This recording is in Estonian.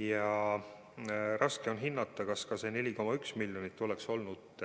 Ja raske on hinnata, kas ka see 4,1 miljonit eurot oleks olnud